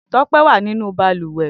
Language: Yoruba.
Tope wà ninú bàlùwẹ̀